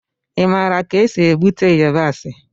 Ị maara ka esi egbute yabasị?